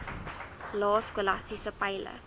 lae skolastiese peile